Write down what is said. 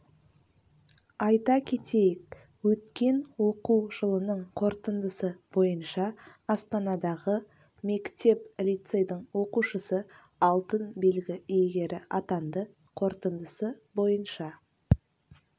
айта кетейік өткен оқу жылының қорытындысы бойынша астанадағы мектеп-лицейдің оқушысы алтын белгі иегері атанды қорытындысы бойынша